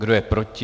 Kdo je proti?